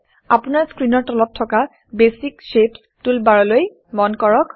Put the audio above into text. আপোনাৰ স্ক্ৰীনৰ তলত থকা বেচিক শেপছ বেছিক শ্বেপচ্ টুলবাৰললৈ মন কৰক